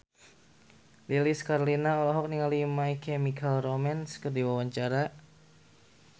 Lilis Karlina olohok ningali My Chemical Romance keur diwawancara